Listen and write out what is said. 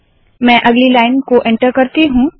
मैं अगली लाइन को एन्टर करती हूँ